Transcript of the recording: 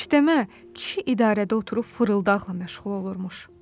Demə, kişi idarədə oturub fırıldaqla məşğul olurmuş.